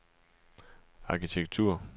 arkitektur